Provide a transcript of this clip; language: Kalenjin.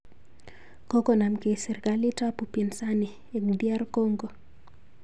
Kokonomkei serkalit ak upinsani eng DR Congo